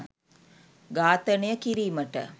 ඝාතනනය කිරීමට